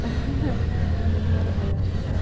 ха-ха нервы